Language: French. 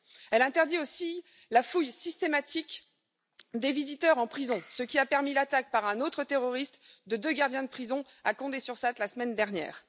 Elle interdit aussi la fouille systématique des visiteurs en prison, ce qui a permis l'attaque par un autre terroriste de deux gardiens de prison à Condé sur Sarthe la semaine dernière.